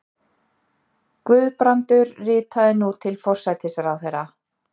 Guðbrandur ritaði nú til forsætisráðherra